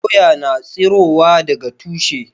Doya ya na tsirowa daga tushe